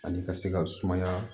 Ani ka se ka sumaya